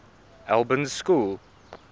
albans school